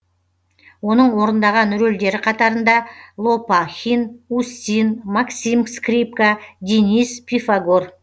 оның орындаған рөлдері қатарында лопахин устин максим скрипка денис пифагор